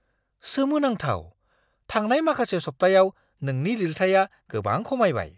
सोमोनांथाव! थांनाय माखासे सप्तायाव नोंनि लिरथाइया गोबां खमायबाय!